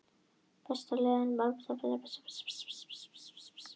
Besta markvarsla hans kom í viðbótartíma þar sem hann bjargaði þremur stigum.